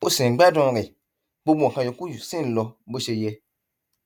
o ṣì ń gbádùn rẹ gbogbo nǹkan yòókù sì ń lọ bó ṣe yẹ